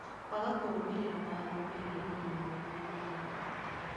Kwaga kũrũmĩrĩra mawatho megiĩ ũgima mwega wa mwĩrĩ na ũgitĩri.